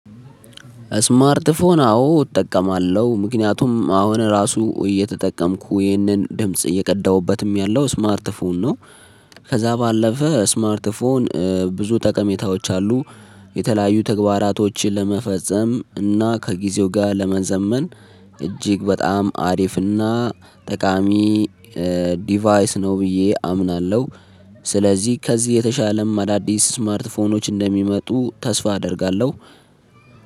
ስማርት ፎን አዎ እጠቀማለሁ። ምክንያቱም አሁን ራሱ እየተጠቀምኩ ይህንን ድምጽ እየቀዳሁበትም ያለው ስማርት ፎን ነው። ከዛ ባለፈ ስማርት ፎን ብዙ ጠቀሜታዎች አሉ። የተለያዩ ተግባራቶችን ለመፈጸም እና ከጊዜው ጋር ለመዘመን እጅግ በጣም አሪፍና ጠቃሚ ዲቫይስ ነው ብዬ አምናለሁ። ስለዚህ ከዚህ የተሻለም አዳዲስ ስማርትፎኖች እንደሚመጡ ተስፋ አደርጋለሁ።